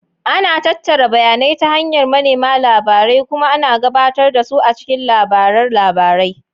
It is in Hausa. Ana tattara bayanai ta hanyar manema labarai kuma ana gabatar da su a cikin labaran labarai.